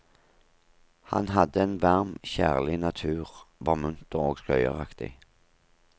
Han hadde en varm og kjærlig natur, var munter og skøyeraktig.